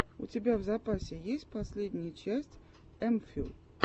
у тебя в запасе есть последняя часть эмфил